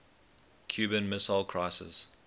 cuban missile crisis